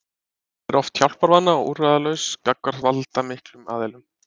Hann er oft hjálparvana og úrræðalaus gagnvart valdamiklum aðilum.